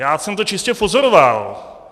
Já jsem to čistě pozoroval.